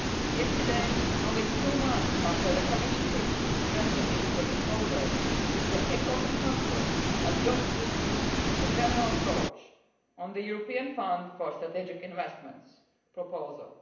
Yesterday, only two months after the Commission presented its proposal, the Ecofin Council adopted a general approach on the European Fund for Strategic Investments proposal.